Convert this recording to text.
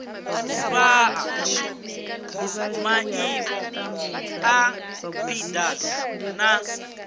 fhaa maimo a pdas na